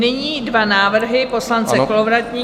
Nyní dva návrhy poslance Kolovratníka.